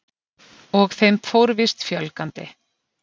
Og þeim fór víst fjölgandi.